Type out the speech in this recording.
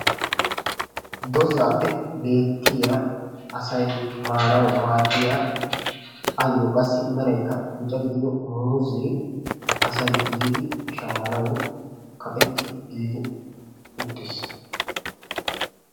Dozappe beetiya asay maanawu maadiya ayo qassi meraykka bicca gidido muuze asay yidi shammanwu kaqqetti uttis.